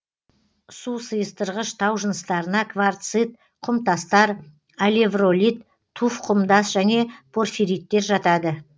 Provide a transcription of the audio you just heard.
су сыйыстырғыш тау жыныстарына кварцит құмтастар алевролит туф құмтас және порфириттер жатады